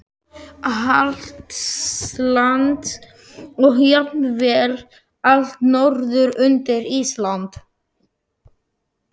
Hjaltlands og jafnvel allt norður undir Ísland.